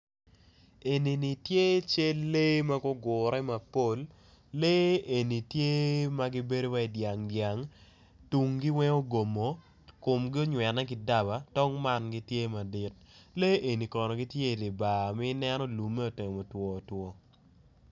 Enini tye cal lee magugure mapol lee eni tye magibedo wai dyang dyang tunggi weng ogomo komgi onywene ki dama tong man gitye ma lik lee eni kono gitye i dibar ma i neno lumme otemo two two.